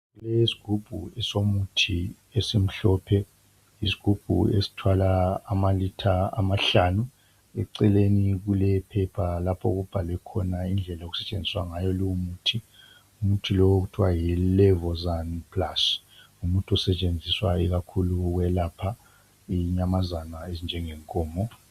Kulesigubhu somuthi esimhlophe isigubhu esithwala amalitha amahlanu eceleni kulephepha lapho okubhalwe khona indlela okusetshenziswa ngayo lowomuthi. Umuthi okuthwa yiLebozani plast ngumuthi osetshenziswa kakhulu ukwelapha inyamazana ezinjengenkomo.